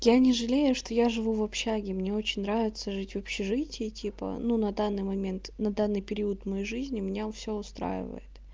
я не жалею что я живу в общаге мне очень нравится жить в общежитии типа ну на данный момент на данный период моей жизни меня все устраивает